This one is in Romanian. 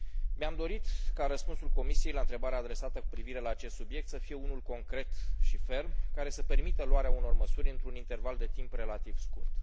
Mi am dorit ca răspunsul Comisiei la întrebarea adresată cu privire la acest subiect să fie unul concret și ferm, care să permită luarea unor măsuri într un interval de timp relativ scurt.